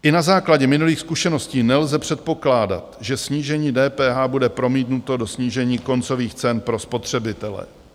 I na základě minulých zkušeností nelze předpokládat, že snížení DPH bude promítnuto do snížení koncových cen pro spotřebitele.